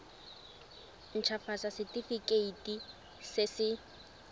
nt hafatsa setefikeiti se se